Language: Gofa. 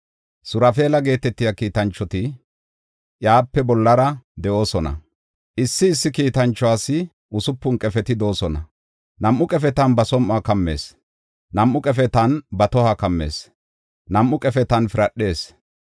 Surafeela geetetiya kiitanchoti iyape bollara de7oosona; issi issi kiitanchuwas usupun qefeti de7oosona; nam7u qefetan ba som7uwa kammees; nam7u qefetan ba tohuwa kammees; nam7u qefetan piradhees.